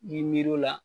N'i miiri o la